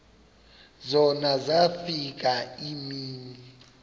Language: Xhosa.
zona zafika iimini